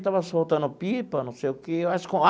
Ele estava soltando pipa, não sei o quê.